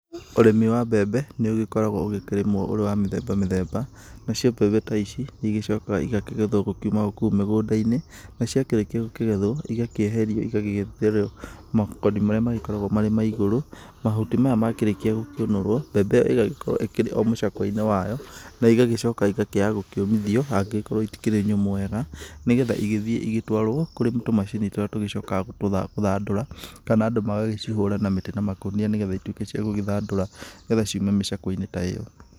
Ũrĩmi wa mbembe nĩ ũgĩkoragwo ũgĩkĩrĩmwo ũrĩ ũrĩ wa mĩthemba mĩthemba, nacio mbembe ta ici nĩ ĩgĩcokaga igakĩgethwo gũkiuma o kou mĩgũnda-inĩ na ciakĩrĩkia gũkĩgethwo cigakĩeherio cigakĩetherwo makoni marĩa magĩkoragwo marĩ ma igũrũ, mahuti maya makĩrĩkia gũkĩũnũrwo mbembe ĩgagĩkorwo ĩkĩrĩ o mũcakwe-inĩ wayo, na igagĩcoka igkĩaga gĩkĩũmithio angĩgĩkorwo itikĩrĩ nyũmũ wega, na nĩgetha igĩthiĩ igĩtwarwo kũrĩ tũmacini tũrĩa tũcokaga gũgĩthandũra kana andũ magagĩcihũra na makũnia na mĩtĩ nĩgetha igĩtuĩke cia gũgĩthandũra nĩgetha ciume mĩcakwe-inĩ ta ĩyo.